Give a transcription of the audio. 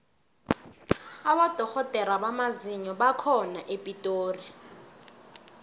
abodorhodere bamazinyo bakhona epitori